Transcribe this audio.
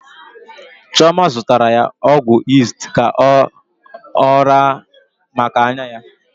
Chioma zụtara ya ọgwụ yist ka ọ raa maka anya ya.